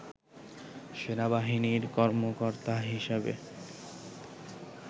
সেনাবাহিনীর কর্মকর্তা হিসেবে